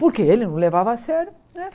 Porque ele não levava a sério, né?